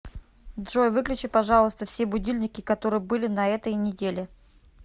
джой выключи пожалуйста все будильники которые были на этой неделе